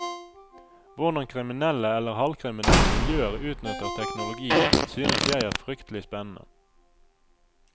Hvordan kriminelle eller halvkriminelle miljøer utnytter teknologi synes jeg er fryktelig spennende.